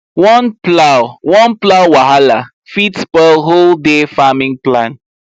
one plow one plow wahala fit spoil whole day farming plan